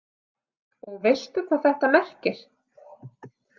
Og veistu hvað þetta merkir?